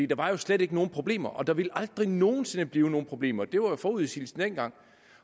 der var slet ikke nogen problemer og der ville aldrig nogen sinde blive nogen problemer det var jo forudsigelsen dengang